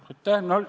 Aitäh!